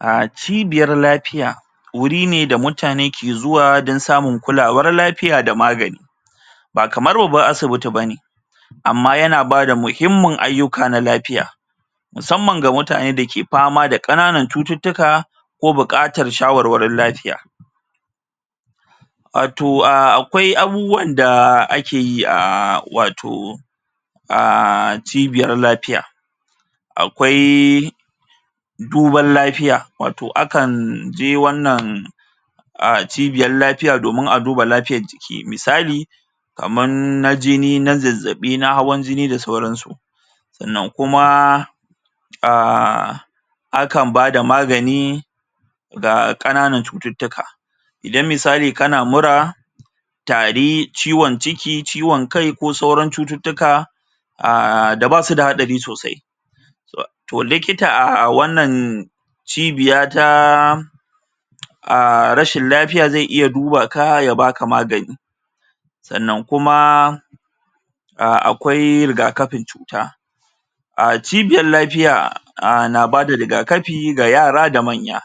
A cibiyar lafiya wuri ne da mutane ke zuwa don samun kulawar lafiya da na magani ba kamar babban asibiti bane amma yana bada muhimmin ayyuka na lafiya musamman ga mutane da ke fama da kananan cututtuka ko buƙatar shawarwarin lafiya wato a akwai abubuwan da akeyi a wato um cibiyar lafiya akwai duban lafiya wato akan je wannan cibiyar lafiyan domin a duba lafiyar jiki misali kaman na jini na zazzabi na hawan jini da sauran su sannan kuma um akan bada magani ga ƙananan cututtuka idan misali kana mura tari, ciwon ciki, ciwon kai ko sauran cututtuka aaa da basu da haɗari sosai toh likita a wannan cibiya taaa a rashin lafiya zai duba ka ya baka magani sannan kuma a akwai rigakafin cuta a cibiyar lafiya a na bada ga yara da manya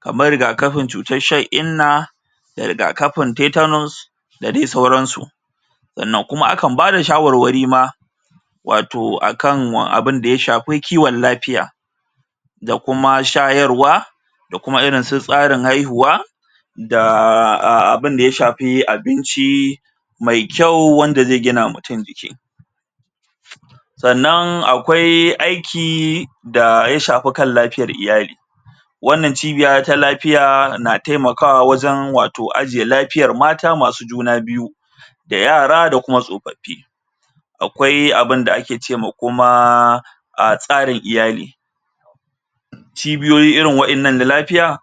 kamar rigakafin cutar shan inna da rigakafin tetanus da dai sauran su sannan kuma akan bada shawarwari ma wato a kan abinda ya shafi kiwon lafiya da kuma shayarwa da kuma irin su tsarin haihuwa da a abinda ya shafi abinci mai kyau wanda zai gina ma mutum jiki sannan akwai aiki da ya shafi kan lafiyar iyali wannan cibiya ta lafiya tana taimakawa wajen wato ajiye lafiyar mata masu juna biyu da yara da kuma tsofaffi akwai abinda ake ce ma kuma a tsarin iyali cibiyoyi irin wannan na lafiya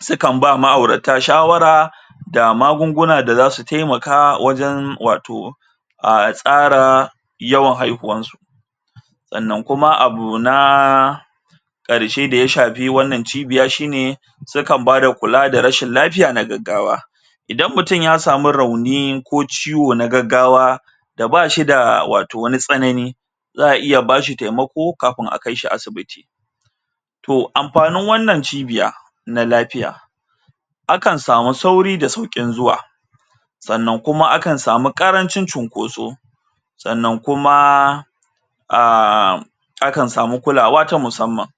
sukan ba ma'aurata shawara da magungunan da za su taimaka a wajen wato a tsara yawan haihuwan su sannan kuma abu na ƙarshe da ya shafi wannan cibiya shine su kan bada kula da rashin lafiya na gaggawa idan mutum ya samu rauni ko ciwo na gaggawa da bashi da wato wani tsanani za a iya bashi taimako kafin a kaishi asibiti to amfanin wannan cibiya na lafiya akan samu sauri da sauƙin zuwa sannan kuma akan samu ƙarancin cinkoso sannan kuma um akan samu kulawa ta musamman.